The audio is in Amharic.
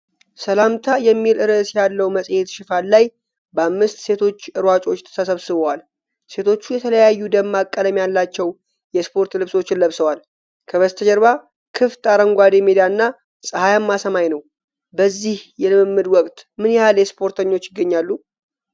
"ሰላምታ" የሚል ርዕስ ያለው መጽሔት ሽፋን ላይ በአምስት ሴቶች ሯጮች ተሰብስበዋል። ሴቶቹ የተለያዩ ደማቅ ቀለም ያላቸው የስፖርት ልብሶችን ለብሰዋል፤ ከበስተጀርባ ክፍት አረንጓዴ ሜዳና ፀሐያማ ሰማይ ነው፣ በዚህ የልምምድ ወቅት ምን ያህል ስፖርተኞች ይገኛሉ?